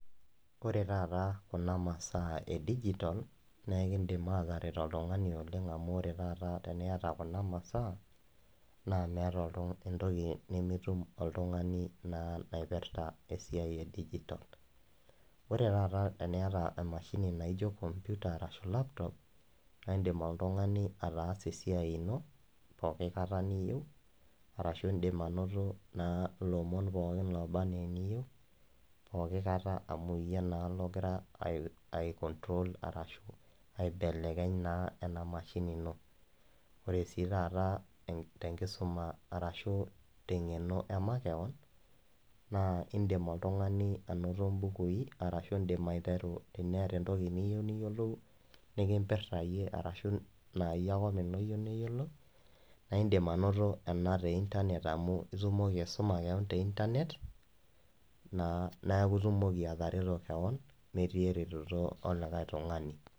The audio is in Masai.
Ore taata kuna masaa e digital naa naa meeta entoki nimitum oltung'ani naa naipirta esiai e digital ore taata teniata emashini naijio computer ashuu laptop naa indim oltung'ani ataasa esiai ino pooki kata niyieu arashuu indiim anato lelo omon olbanaa iliyieu pooki kata amu iyie naa ogira ai control arashuu aibelekeny naa enaashini ino ore sii taata tenkisuma arashuu teng'eno emakewon naa indiip oltung'ani anoto imbukui arashuu ashuu indiim aiteru entoki niyieu niyiolou nikimpirta iyiee arashuu naayie ake openye ooyieu neyiolo naa indiim anoto ena teeyie amu itumoki aisuma te internet naa neeku itumoki atareto kewon metii eretoto elikae tung'ani.